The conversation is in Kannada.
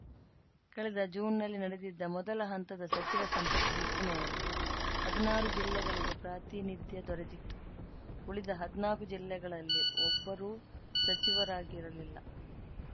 ಕಳೆದ ಜೂನ್‌ನಲ್ಲಿ ನಡೆದಿದ್ದ ಮೊದಲ ಹಂತದ ಸಚಿವ ಸಂಪುಟ ವಿಸ್ತರಣೆಯಲ್ಲಿ ಹದ್ನಾರು ಜಿಲ್ಲೆಗಳಿಗೆ ಪ್ರಾತಿನಿಧ್ಯ ದೊರೆತಿತ್ತು ಉಳಿದ ಹದ್ನಾಕು ಜಿಲ್ಲೆಗಳಲ್ಲಿ ಒಬ್ಬರೂ ಸಚಿವರಾಗಿರಲಿಲ್ಲ